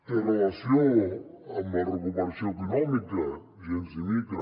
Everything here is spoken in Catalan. té relació amb la recuperació econòmica gens ni mica